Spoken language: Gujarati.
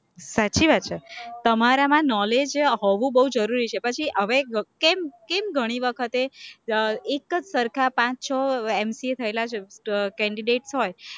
સાચી વાત છે, તમારામાં knowledge હોવું બોવ જરૂરી છે, પછી હવે એક કેમ ઘણી વખતે એક જ સરખા પાંચ-છ MCA થયેલા candidate હોય